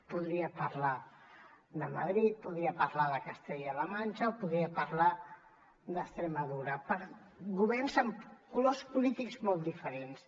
podria parlar de madrid podria parlar de castella la manxa o podria parlar d’extremadura governs amb colors polítics molt diferents